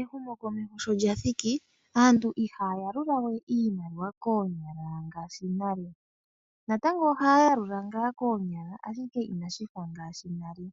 Ehumokomeho sholyathiki aantu ihaya yalulawe iimaliwa koonyala ngaashi nale , natango ohaya yalula ngaa koonyala ndele inashi fa nale .